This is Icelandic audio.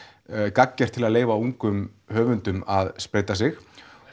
gagngert til að leyfa ungum höfundum að spreyta sig